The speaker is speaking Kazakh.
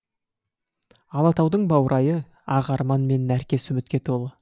алатаудың баурайы ақ арман мен нәркес үмітке толы